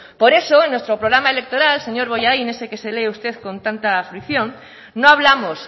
por eso en nuestro programa electoral señor bollain ese que se lee usted con tanta fruición no hablamos